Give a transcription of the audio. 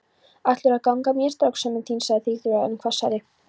Ætlarðu að gegna mér, strákskömmin þín? sagði Sigþóra enn hvassari.